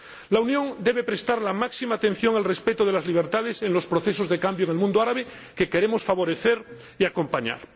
La Unión debe prestar la máxima atención al respeto de las libertades en los procesos de cambio en el mundo árabe que queremos favorecer y acompañar.